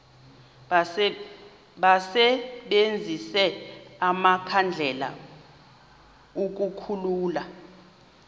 basebenzise amakhandlela ukukhulula